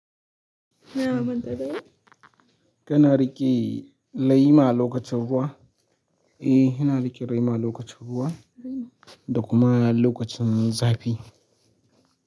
Ina manta dai? Kana riƙe lema lokacin ruwa, eh ina riƙe lema lokacin ruwa da kuma lokacin zafi.